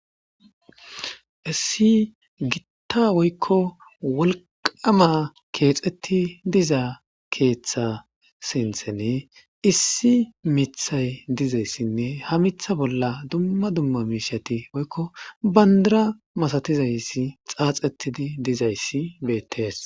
issi gitta woykko wolqama keexeti diza keeththa sinthene issi mithay dizayssinne ha mitha bolla dumma dumma miishati woykko bandara masatizayssi xaaxettidi dizayssi beettees